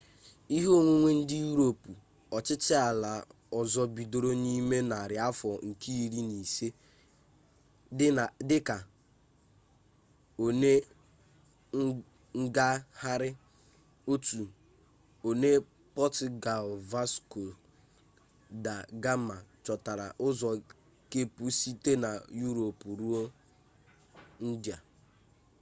ike onwunwe ndị yurop ọchịchị ala ọzọ bidoro n'ime narị afọ nke iri na ise dị ka one ngagharị one pọtugalụ vasco da gama chọtara ụzọ kepụ site na yurop ruo indịa